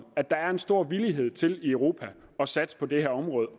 at der er stor villighed til i europa at satse på det her område